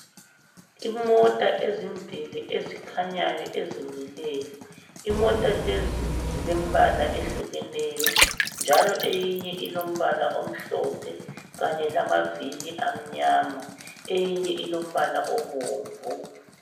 Imota ezimbili ezikhanyayo ezimileyo, imota lezi zilembala ehlukeneyo njalo eyinye ilombala omhlophe kanye lamavili amnyama eyinye ilombala obomvu.